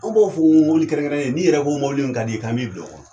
Anw b'o fɔ ŋowili kɛrɛnkɛrɛnnen, n'i yɛrɛ ko mɔbili min kad'i ye kan b'i bil'o kɔnɔ.